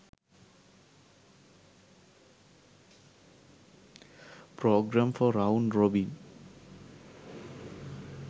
program for round robin